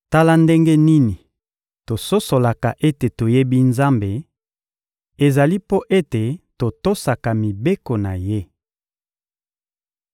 Tala ndenge nini tososolaka ete toyebi Nzambe: ezali mpo ete totosaka mibeko na Ye.